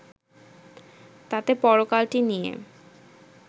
তাতে পরকালটি নিয়ে